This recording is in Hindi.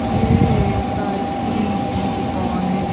ये एक आइसक्रीम की दुकान है।